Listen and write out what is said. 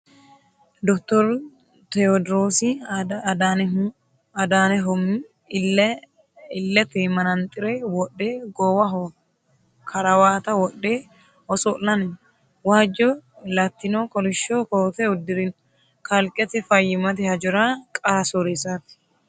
Dottoru tewoodiroosi adanehomi illete manaxxire wodhe goowaho karawata wodhe oso'lanni no. Waajjo Latino kolishsho koote uddirino. Kalqete fayyimate hajora qara sooreessaati